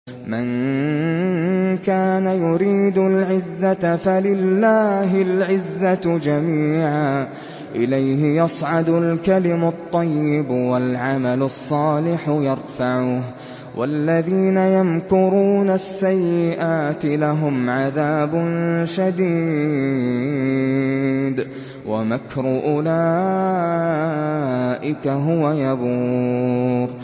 مَن كَانَ يُرِيدُ الْعِزَّةَ فَلِلَّهِ الْعِزَّةُ جَمِيعًا ۚ إِلَيْهِ يَصْعَدُ الْكَلِمُ الطَّيِّبُ وَالْعَمَلُ الصَّالِحُ يَرْفَعُهُ ۚ وَالَّذِينَ يَمْكُرُونَ السَّيِّئَاتِ لَهُمْ عَذَابٌ شَدِيدٌ ۖ وَمَكْرُ أُولَٰئِكَ هُوَ يَبُورُ